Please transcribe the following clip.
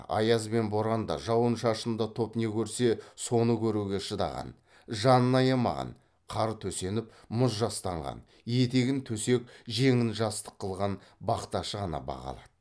аяз бен боранда жауын шашында топ не көрсе соны көруге шыдаған жанын аямаған қар төсеніп мұз жастанған етегін төсек жеңін жастық қылған бақташы ғана баға алады